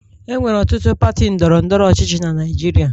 Enwere ọtụtụ pati ndọrọ ndọrọ ọchịchị na Naịjirịa